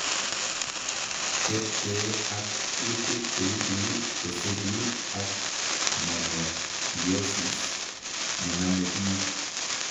Ketkee ak kuutik cheibu chesiruu ak mononucleosis nename biik